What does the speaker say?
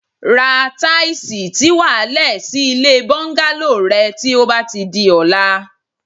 Ra táìsì tí wà á le̩ sí ilé bó̩ńgálò re̩ ti ó bá ti di o̩la